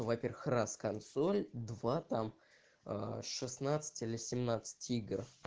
во-первых раз консоль два там шестнадцать или семнадцать игр